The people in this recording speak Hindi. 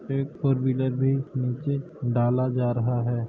एक फोरविलर भी नीचे डाला जा रहा है।